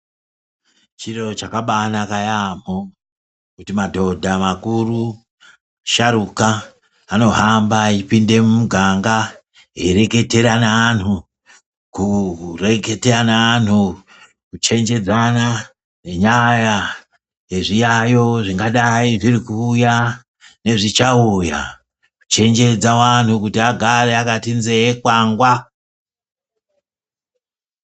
Chiro chakabanaka yaambo, kuti madhodha makuru, sharuka anohamba eipinde mumuganga. Eireketera naantu kureketa neantu kuchenjedzana nenyaya yezviyavo zvingadai zviri kuuya nezvichauya. Kuchenjedza antu kuti agare akati nzee kwangwa.